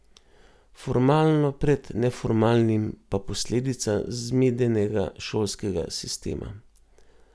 Formalno pred neformalnim, pa posledica zmedenega šolskega sistema.